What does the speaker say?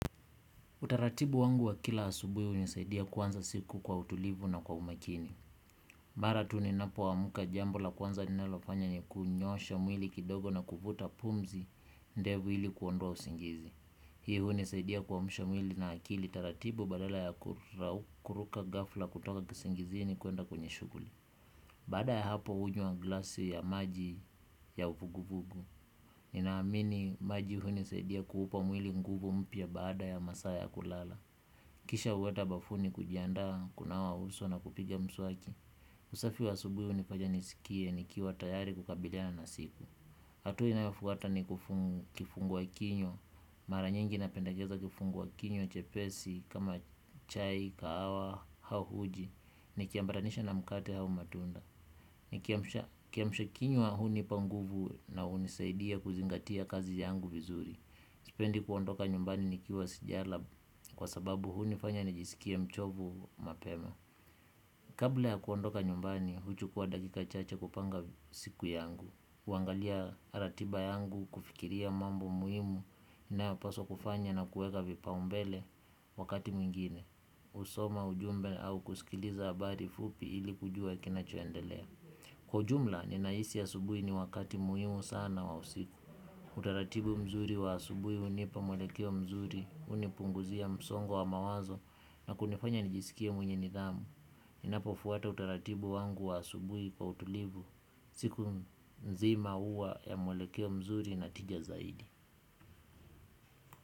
Utaratibu wangu wa kila asubui unisaidia kuanza siku kwa utulivu na kwa umakini. Mara tuni napoamka jambo la kwanza ninalofanya niku nyoosha mwili kidogo na kuvuta pumzi ndevu ili kuondoa usingizi. Hii unisaidia kuamsha mwili na akili taratibu badala ya kuruka ghafla kutoka kisingizi ni kwenda kwenye shuguli. Baada ya hapo hunywa glasi ya maji ya uvuguvugu. Ninaamini maji unisaidia kuupa mwili nguvu mpia baada ya masaa ya kulala. Kisha uweta bafuni kujiandaa, kunawa uso na kupiga mswaki. Usafi wa asubuhi unifanya nisikie, nikiwa tayari kukabiliana na siku. Atua inayofuata ni kifungua kinywa. Mara nyingi napendekeza kifungua kinywa, chepesi, kama chai, kahawa, au uji nikiambaranisha na mkate au matunda. Nikiamsha kiamsha kinywa unipanguvu na unisaidia kuzingatia kazi yangu vizuri. Sipendi kuondoka nyumbani nikiwa sijala kwa sababu huni fanya nijiskie mchovu mapema. Kabla ya kuondoka nyumbani, huchukua dakika chache kupanga siku yangu. Uangalia ratiba yangu, kufikiria mambo muhimu, inayopaswa kufanya na kuweka vipa umbele wakati mwingine. Usoma ujumbe au kuskiliza habari fupi ili kujua kinachoendelea. Kwa ujumla, ninahisi a subui ni wakati muhimu sana wa usiku. Utaratibu mzuri wa asubui unipa mwelekeo mzuri unipunguzia msongo wa mawazo na kunifanya nijiskie mwenye nidhamu. Inapo fuata utaratibu wangu wa asubui kwa utulivu siku nzima huwa ya mwelekeo mzuri natija zaidi.